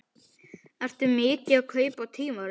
Ertu mikið að kaupa tímarit?